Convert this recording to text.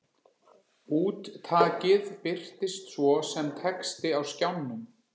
Úttakið birtist svo sem texti á skjánum.